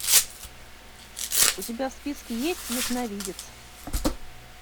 у тебя в списке есть ясновидец